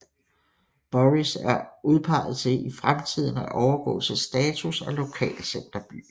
Borris er udpeget til i fremtiden at overgå til status af lokalcenterby